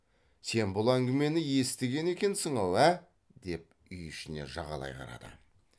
сен бұл әңгімені естіген екенсің ау ә деп үй ішіне жағалай қарады